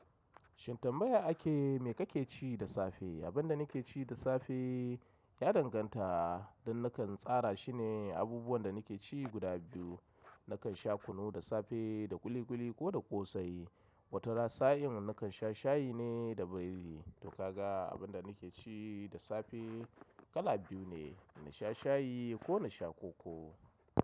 Shin tambaya ake me kake ci da safe? Abin da nake ci da safe ya danganta don nakan tsara shine abubuwan da nake ci guda biyu. Nakan sha kunu da safe da ƙuli ƙuli ko da ƙosai. Wata ra sa'in nakan sha shayi ne da biredi. To ka ga abin da nake ci da safe kala biyu ne, na sha shayi ko na sha koko.